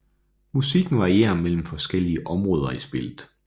Musikken varierer mellem forskellige områder i spillet